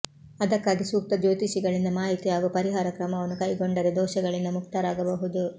ಅದಕ್ಕಾಗಿ ಸೂಕ್ತ ಜ್ಯೋತಿಷಿಗಳಿಂದ ಮಾಹಿತಿ ಹಾಗೂ ಪರಿಹಾರ ಕ್ರಮವನ್ನು ಕೈಗೊಂಡರೆ ದೋಷಗಳಿಂದ ಮುಕ್ತರಾಗಬಹುದು